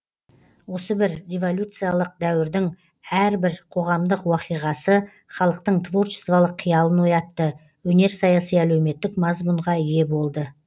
осы бір революциялық дәуірдің әрбір қоғамдық уақиғасы халықтың творчестволық қиялын оятты өнер саяси әлеуметтік мазмұнға ие болды